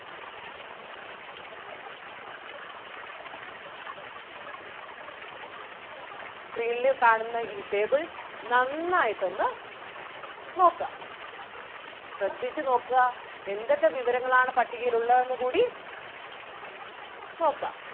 screen ല് കാണുന്ന ഈ table നന്നായിട്ടൊന്ന് നോക്കുക ശ്രദ്ധിച്ചു നോക്കുക എന്തൊക്കെ വിവരങ്ങൾ ആണ് പട്ടികയിൽ ഉള്ളതെന്ന് കൂടി നോക്കുക.